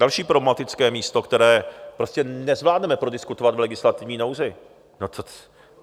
Další problematické místo, které prostě nezvládneme prodiskutovat v legislativní nouzi.